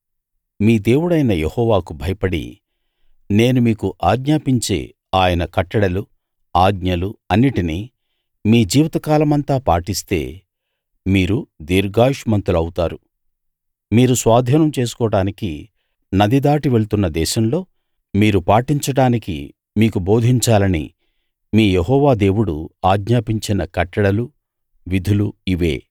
మీ దేవుడైన యెహోవాకు భయపడి నేను మీకు ఆజ్ఞాపించే ఆయన కట్టడలు ఆజ్ఞలు అన్నిటినీ మీ జీవితకాలమంతా పాటిస్తే మీరు దీర్ఘాయుష్మంతులు అవుతారు మీరు స్వాధీనం చేసుకోడానికి నది దాటి వెళ్తున్న దేశంలో మీరు పాటించడానికి మీకు బోధించాలని మీ యెహోవా దేవుడు ఆజ్ఞాపించిన కట్టడలు విధులు ఇవే